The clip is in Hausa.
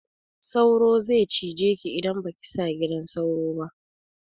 Sauro ze cije ki idan baki sa gidan sauro ba